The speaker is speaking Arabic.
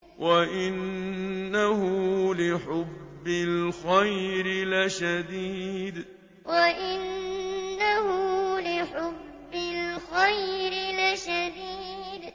وَإِنَّهُ لِحُبِّ الْخَيْرِ لَشَدِيدٌ وَإِنَّهُ لِحُبِّ الْخَيْرِ لَشَدِيدٌ